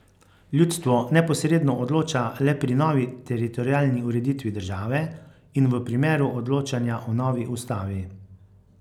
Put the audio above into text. Ljudstvo neposredno odloča le pri novi teritorialni ureditvi države in v primeru odločanja o novi ustavi.